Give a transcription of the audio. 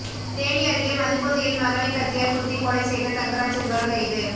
தேனி அருகே மதுபோதையில் மகனை கத்தியால் குத்திக் கொலை செய்த தங்கராஜ் என்பவர் கைது